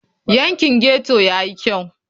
Yankin ghetto ya yi kyau?